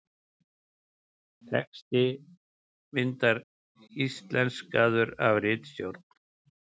Texti myndar íslenskaður af ritstjórn.